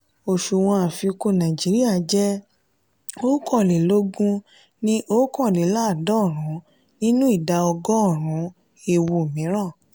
òsùwòn àfikún naijiria je òkànlélógún ní okanleladorun nínú ìdá ọgọ́rùn-ún ewu mìíràn.